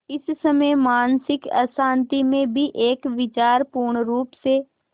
पर इस मानसिक अशांति में भी एक विचार पूर्णरुप से